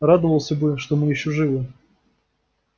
радовался бы что мы ещё живы